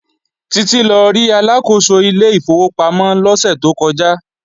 Títí lọ rí Aláàkóso ilé ìfowópamọ́ lọ́sẹ̀ tó kọjá